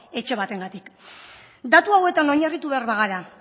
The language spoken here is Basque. etxe batengatik datu hauetan oinarritu behar bagara